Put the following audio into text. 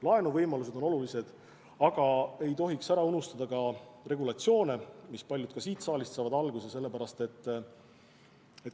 Laenuvõimalused on ka olulised, aga ei tohiks ära unustada regulatsioone, millest paljud saavad alguse siit saalist.